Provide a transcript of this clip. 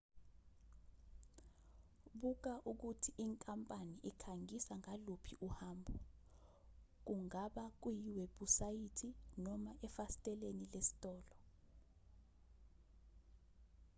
buka ukuthi inkampani ikhangisa ngaluphi uhambo kungaba kuyiwebhusayithi noma efasiteleni lesitolo